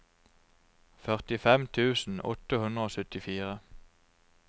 førtifem tusen åtte hundre og syttifire